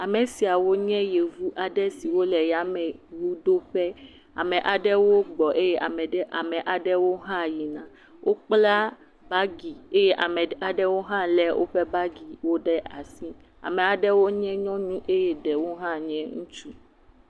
Ame siawo nye yevu aɖe siwo le yameŋuɖoƒe. Ame aɖewo gbɔ eye ame ɖe ame aɖewo hã yina. Wokpla bagi eye ame ɖeka aɖewo hã le woƒe bagiwo ɖe asi. Ame aɖewo nye nyɔnu eye ɖewo hã ŋutsu.